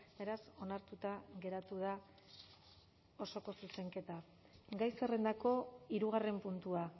beraz onartuta geratu da osoko zuzenketa gai zerrendako hirugarren puntua